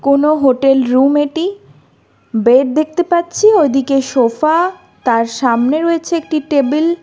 কোনও hotel room এটি bed দেখতে পাচ্ছি ওইদিকে সোফা তার সামনে রয়েছে একটি টেবিল ।